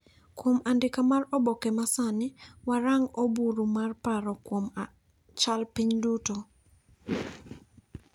kuom andika mar oboke ma sani warang' oburu mar paro kuom chal piny duto.